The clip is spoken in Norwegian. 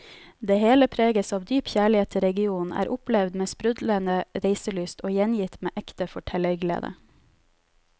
Det hele preges av dyp kjærlighet til regionen, er opplevd med sprudlende reiselyst og gjengitt med ekte fortellerglede.